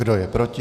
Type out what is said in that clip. Kdo je proti?